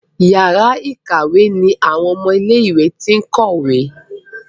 Yàrá ìkàwé ní àwọn ọmọ ilé ìwé t'in kọ ìwé.